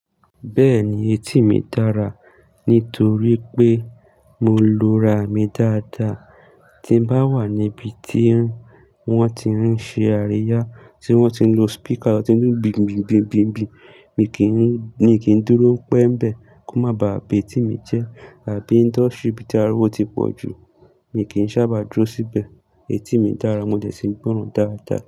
Bẹ́ẹ̀ni etí mi dára, nítorí pé mo lo ra mi dáadáa. Tí n bá wà níbi tí wọ́n ti ń ṣe àríyá tí wọ́n ti ń lo speaker tí ó ń dùn gbìngbin, mi kì í dúró pẹ́ nbẹ́ kò má baa ba etí mi jẹ, àbí ní industry bí i ti ariwo ti pọ̀ jù, mi kì í sábà dúró síbẹ̀. Etí mi dára mo dẹ sí n gbọ́ràn dáadáa.